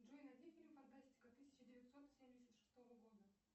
джой найди фильм фантастика тысяча девятьсот семьдесят шестого года